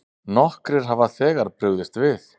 Nokkrir hafa þegar brugðist við.